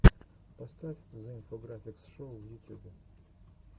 поставь зе инфографикс шоу в ютюбе